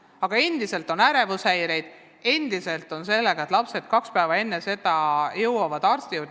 Aga endiselt on ärevushäireid, endiselt on probleeme sellega, et lapsed jõuavad kaks päeva enne tasemetööd arsti juurde.